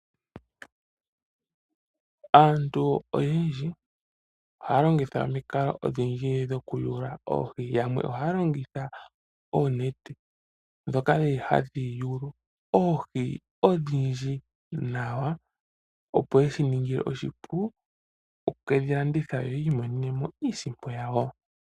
Aantu oyendji ohaya longitha omikalo odhindji dhokuyuula oohi. Yamwe ohaya longitha oonete ndhoka hadhi yulu oohi odhindji . Shika ohashi ya ningile oshipu opo ye kedhi shingithe yi imonene mo iiyemo yawo.